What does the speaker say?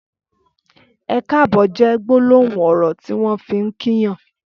Ẹkáàbọ̀ jè gbólóhún ọrọ tiwọn fi n kí yàn